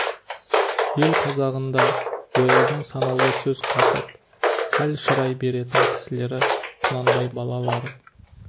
ел қазағында ояздың санаулы сөз қатып сәл шырай беретін кісілері құнанбай балалары